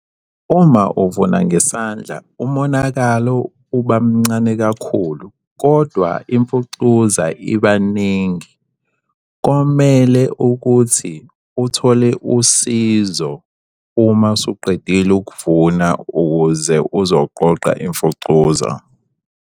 Uma uvuna ngesandla umonakalo uba mncane kakhulu, kodwa imfucuza iba ningi. Komele ukuthi uthole usizo uma usuqedile ukuvuna ukuze uzoqoqa imfucuza.